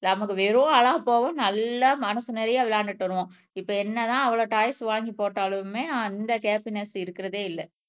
நமக்கு வெறும் நல்லா மனசு நிறைய விளையாண்டுட்டு வருவோம் இப்ப என்னதான் அவ்ளோ டாய்ஸ் வாங்கி போட்டாலுமே அந்த ஹப்பின்ஸ் இருக்கிறதே இல்ல